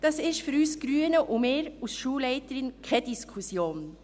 Das ist für uns Grüne und mich als Schulleiterin keine Diskussion.